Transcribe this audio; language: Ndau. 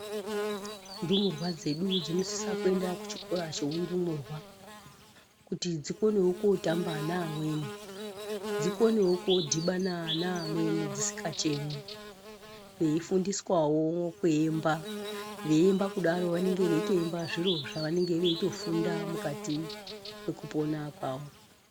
Ndumurwa dzedu dzinosisa kuenda kuchikora cheundumurwa kuti dzikonewe kotamba nevamweni dzikonewo kodhibana nevamweni dzisingachemi veifundiswawo kuemba veiemba kudaro vanenge veiemba zviro zvavanenge veitofunda mukati mwekupona kwavo.